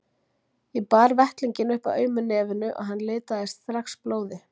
Ég bar vettlinginn upp að aumu nefinu og hann litaðist strax blóði.